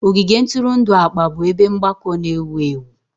Ogige ntụrụndụ akpa bụ ebe mgbakọ na-ewu ewu.